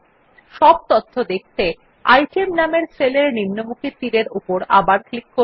সব তথ্য দেখতে আইটেম নামের সেল এর নিম্নমুখী তীর এর উপর আবার ক্লিক করুন